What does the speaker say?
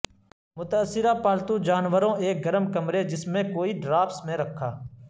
متاثرہ پالتو جانوروں ایک گرم کمرے جس میں کوئی ڈرافٹس میں رکھا